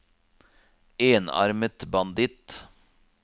enarmet banditt